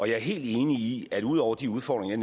jeg er helt enig i at vi ud over de udfordringer